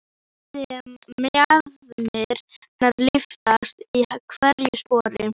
Sé mjaðmir hennar lyftast í hverju spori.